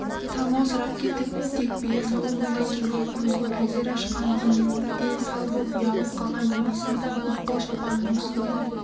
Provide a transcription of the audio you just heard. талмаусырап кетіп тек бие сауымындай кезде көзін әзер ашқан зейнеп дел-сал боп ұялап қалған денесін мақпал шапанының үстінен